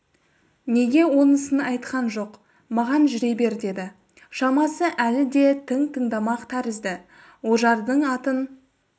неге онысын айтқан жоқ маған жүре бер деді шамасы әлі де тың тыңдамақ тәрізді ожардың атын